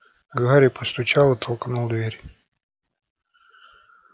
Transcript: гарри постучал и толкнул дверь